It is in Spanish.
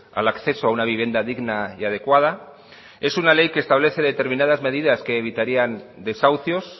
al acceso a una vivienda digna y adecuada es una ley que establece determinadas medidas que evitarían desahucios